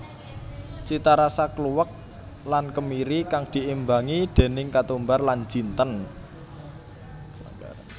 Citarasa kluwek lan kemiri kang diimbangi déning ketumbar lan jinten